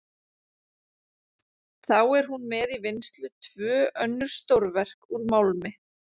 Þá er hún með í vinnslu tvö önnur stórverk úr málmi.